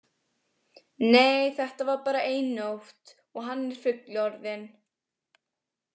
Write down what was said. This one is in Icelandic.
Nei, þetta var bara ein nótt og hann er fullorðinn.